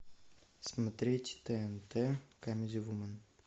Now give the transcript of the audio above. смотреть тнт камеди вумен